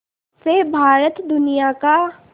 से भारत दुनिया का